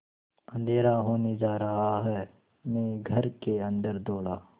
अँधेरा होने जा रहा है मैं घर के अन्दर दौड़ा